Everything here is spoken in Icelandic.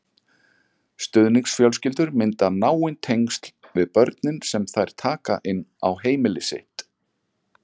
Stuðningsfjölskyldur mynda náin tengsl við börnin sem þær taka inn á heimili sitt.